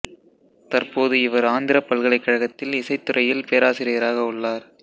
தற்போது இவர் ஆந்திர பல்கலைக்கழகத்தில் இசைத் துறையில் பேராசிரியராக உள்ளார்